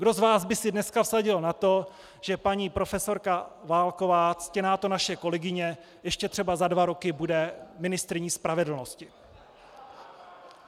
Kdo z vás by si dneska vsadil na to, že paní profesorka Válková, ctěná to naše kolegyně, ještě třeba za dva roky bude ministryní spravedlnosti?